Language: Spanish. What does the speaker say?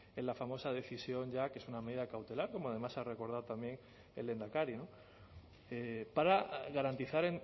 en la famosa decisión ya que es una medida cautelar como además ha recordado también el lehendakari para garantizar